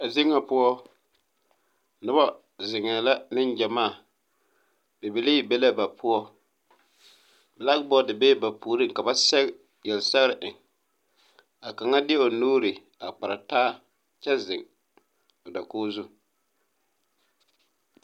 Zie nga puo nuba zengɛɛ la ninjamaa bibilii be la ba pou black board bɛɛ ba pouring ka ba sege yele segre eng a kanga deɛ ɔ nuuri a kpare taa kye zeng dakuo zu.